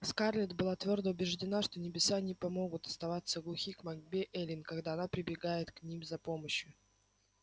скарлетт была твёрдо убеждена что небеса не помогут оставаться глухи к мольбе эллин когда она прибегает к ним за помощью